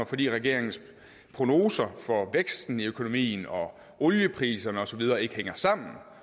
fordi regeringens prognoser for væksten i økonomien og oliepriserne og så videre ikke hænger sammen